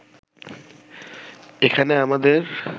এখানে আমাদের